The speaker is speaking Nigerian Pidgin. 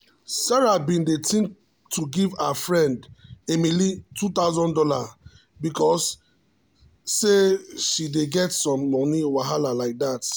sarah been dey think to give her friend emily two thousand dollars because say she dey get some moni wahala like that.